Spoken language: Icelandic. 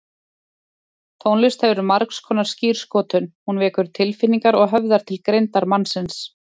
Tónlist hefur margskonar skírskotun, hún vekur tilfinningar og höfðar til greindar mannsins.